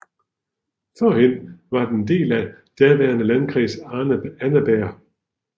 Førhen var den en del af den daværende Landkreis Annaberg